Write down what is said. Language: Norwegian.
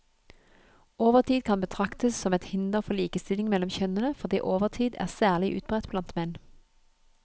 Overtid kan betraktes som et hinder for likestilling mellom kjønnene, fordi overtid er særlig utbredt blant menn.